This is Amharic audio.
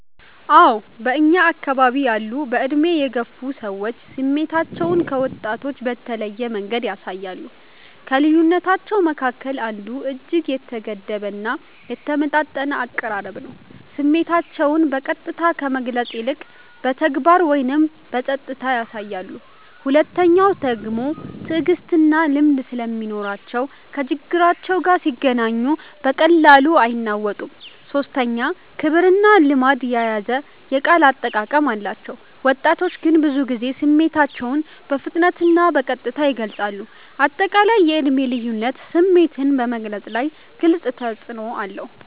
አዎ በእኛ አከባቢ ያሉ በዕድሜ የገፉ ሰዎች ስሜታቸውን ከወጣቶች በተለየ መንገድ ያሳያሉ። ከልዩነታቸዉ መካከል አንዱ እጅግ የተገደበ እና የተመጣጠነ አቀራረብ ነው፤ ስሜታቸውን በቀጥታ ከመግለጽ ይልቅ በተግባር ወይም በጸጥታ ያሳያሉ። ሁለተኛዉ ደግሞ ትዕግስትና ልምድ ስለሚኖራቸው ከችግር ጋር ሲገናኙ በቀላሉ አይናወጡም። ሶስተኛ ክብርና ልማድ የያዘ የቃል አጠቃቀም አላቸው፤ ወጣቶች ግን ብዙ ጊዜ ስሜታቸውን በፍጥነትና በቀጥታ ይገልጻሉ። አጠቃላይ የዕድሜ ልዩነት ስሜትን በመግለፅ ላይ ግልጽ ተፅዕኖ አለው።